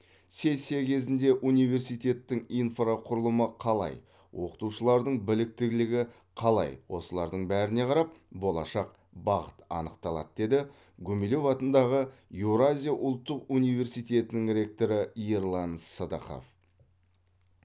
сессия кезінде университеттің инфрақұрылымы қалай оқытушылардың біліктілігі қалай осылардың бәріне қарап болашақ бағыт анықталады деді гумилев атындағы еуразия ұлттық университетінің ректоры ерлан сыдықов